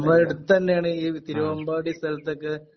നമ്മുടെ അടുത്തന്നേണ് ഈ തിരുമ്പാടി സ്ഥലത്തൊക്കെ